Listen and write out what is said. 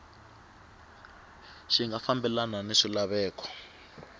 xi nga fambelani ni swilaveko